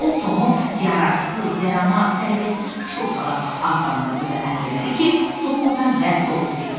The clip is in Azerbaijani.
O Tomu yararsız, yaramaz, tərbiyəsiz küçə uşağı adlandırdı və əmr elədi ki, Tom ordan rədd olub getsin.